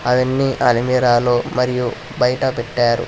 అవన్నీ అల్మరా లో మరియు బయట పెట్టారు.